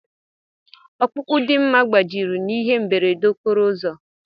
Ọkpụkpụ Dimma gbajiri n'ihe mberede okporo ụzọ.